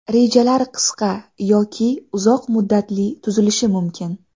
Rejalar qisqa yoki uzoq muddatli tuzilishi mumkin.